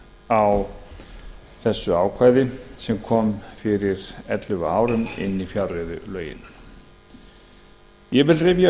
á þessu ákvæði sem kom fyrir ellefu árum inn í fjárreiðulögin ég vil rifja upp